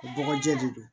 O bɔgɔjɛ de don